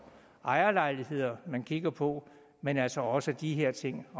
ejerlejligheder man kigger på men altså også de her ting